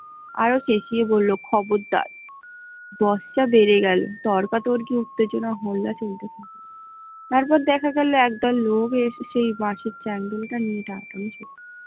আরও ছেঁচিয়ে বলল খবর দার, বস্তা বেড়ে গেল তর্কা তর্কী উত্তেজনা হল্লা চলতে লাগলো তারপর দেখা গেল একদল লোক এসে এই বাঁশের চ্যাংদোলা টা নিয়ে গেল ।